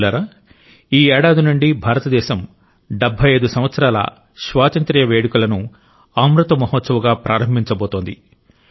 మిత్రులారా ఈ ఏడాది నుండి భారతదేశం 75 సంవత్సరాల స్వాతంత్ర్య వేడుకలను అమృత్ మహోత్సవ్ గా ప్రారంభించబోతోంది